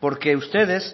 porque ustedes